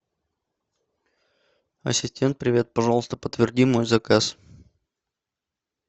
ассистент привет пожалуйста подтверди мой заказ